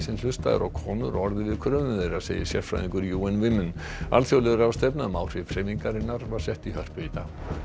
hlustað er á konur og orðið við kröfum þeirra segir sérfræðingur Women alþjóðleg ráðstefna um áhrif hreyfingarinnar var sett í Hörpu í dag